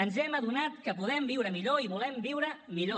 ens hem adonat que podem viure millor i volem viure millor